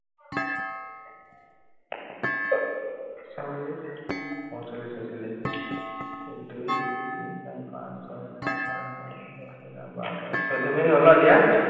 চৌৰাল্লিশ, পঞ্চল্লিশ, ছয়চল্লিশ, এক দুই তিনি চাৰি পাঁচ ছয় সাত আঠ ন, এঘাৰ বাৰ তেৰ, চৌধ্য় মিনিট হল ন এতিয়া?